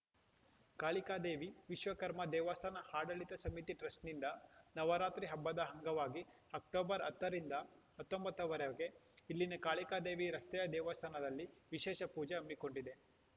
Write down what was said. ಕಾಳಿಕಾದೇವಿ ವಿಶ್ವಕರ್ಮ ದೇವಸ್ಥಾನ ಆಡಳಿತ ಸಮಿತಿ ಟ್ರಸ್ಟ್‌ನಿಂದ ನವರಾತ್ರಿ ಹಬ್ಬದ ಅಂಗವಾಗಿ ಅಕ್ಟೋಬರ್ ಹತ್ತರಿಂದ ಹತ್ತೊಂಬತ್ತರವರೆಗೆ ಇಲ್ಲಿನ ಕಾಳಿಕಾದೇವಿ ರಸ್ತೆಯ ದೇವಸ್ಥಾನದಲ್ಲಿ ವಿಶೇಷ ಪೂಜೆ ಹಮ್ಮಿಕೊಂಡಿದೆ